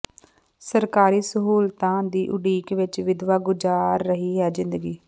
ਸਰਕਾਰੀ ਸਹੂਲਤਾਂ ਦੀ ਉਡੀਕ ਵਿਚ ਵਿਧਵਾ ਗੁਜ਼ਾਰ ਰਹੀ ਹੈ ਜ਼ਿੰਦਗੀ